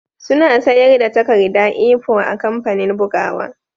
Suna sayar da takarda A4 a kamfanin bugawa